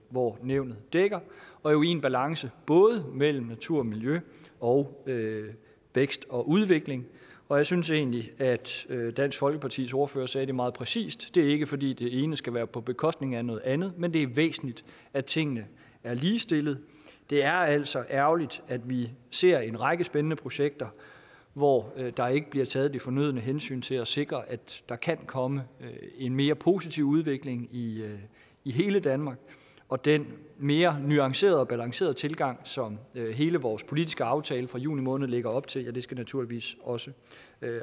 hvor nævnet dækker og jo i en balance både mellem natur og miljø og vækst og udvikling og jeg synes egentlig at dansk folkepartis ordfører sagde det meget præcist det er ikke fordi det ene skal være på bekostning af noget andet men det er væsentligt at tingene er ligestillet det er altså ærgerligt at vi ser en række spændende projekter hvor der ikke bliver taget de fornødne hensyn til at sikre at der kan komme en mere positiv udvikling i i hele danmark og den mere nuancerede og balancerede tilgang som hele vores politiske aftale fra juni måned lægger op til skal naturligvis også